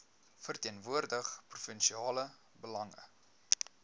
verteenwoordig provinsiale belange